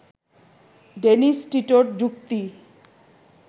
Dennis টিটোর যুক্তি